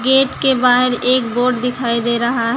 Gate के बाहर एक बोर्ड दिखाई दे रहा है।